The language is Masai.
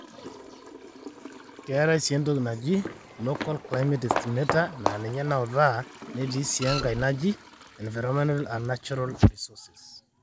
Keetae sii entoki naji Local Climate Estimator naa ninye naautaa netii sii Enkae naji Environmental and Natural resources.